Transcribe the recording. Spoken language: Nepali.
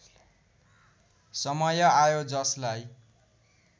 समय आयो जसलाई